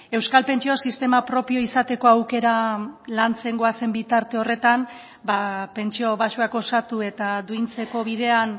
euskal pentsio sistema propioa izateko aukera lantzen goazen bitarte horretan ba pentsio baxuak osatu eta duintzeko bidean